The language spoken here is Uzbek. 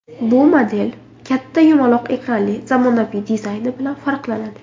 Bu model katta yumaloq ekranli zamonaviy dizayni bilan farqlanadi.